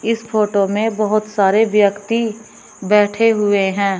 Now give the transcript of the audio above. इस फोटो में बहोत सारे व्यक्ति बैठे हुए है।